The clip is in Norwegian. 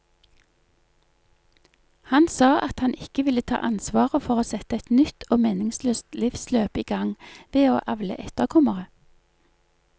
Han sa at han ikke ville ta ansvaret for å sette et nytt og meningsløst livsløp i gang ved å avle etterkommere.